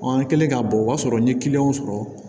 an kɛlen ka bɔ o b'a sɔrɔ n ye kiliyanw sɔrɔ